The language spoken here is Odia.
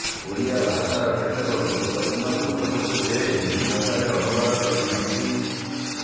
ଓଡ଼ିଆ ଭାଷାର କେତେକ ଗୁରୁତ୍ବପୂର୍ଣ୍ଣ ପୁସ୍ତକକୁ ସେ ହିନ୍ଦୀ ଭାଷାରେ ଅନୁବାଦ କରିଛନ୍ତି